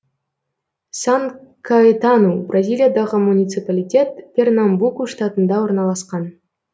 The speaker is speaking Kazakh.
сан каэтану бразилиядағы муниципалитет пернамбуку штатында орналасқан